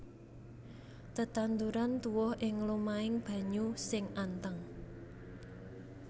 Tetanduran tuwuh ing lumahing banyu sing anteng